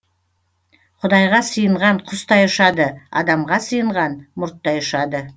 құдайға сыйынған құстай ұшады адамға сыйынған мұрттай ұшады